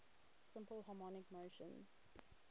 simple harmonic motion